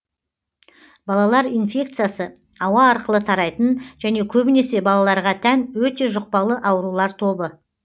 балалар инфекциясы ауа арқылы тарайтын және көбінесе балаларға тән өте жұқпалы аурулар тобы